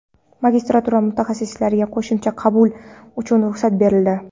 Magistratura mutaxassisliklariga qo‘shimcha qabul uchun ruxsat berildi.